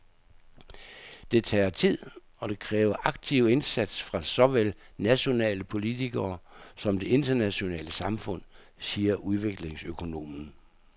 Det tager tid og det kræver aktiv indsats fra såvel nationale politikere som det internationale samfund, siger udviklingsøkonomen.